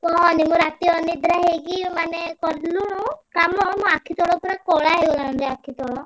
କହନି ମୁଁ ରାତି ଅନିଦ୍ରା ହେଇକି ମାନେ କାମ ମୋ ଆଖି ତଳ ପୁରା କଳା ହେଇଗଲାଣି ରେ ଆଖି ତଳ।